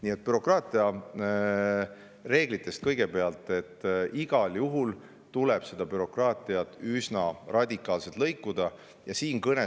Nii et bürokraatiareeglite kohta ütlen, et igal juhul tuleb bürokraatiat üsna radikaalselt.